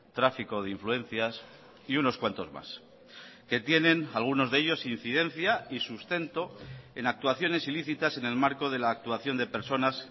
tráfico de influencias y unos cuantos más que tienen algunos de ellos incidencia y sustento en actuaciones ilícitas en el marco de la actuación de personas